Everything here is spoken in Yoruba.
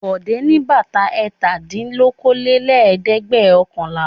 Bọ̀dé ní bàtà ẹ̀tàdínlókòólélẹ́ẹ̀dẹ́gbẹ̀ọ̀kànlá.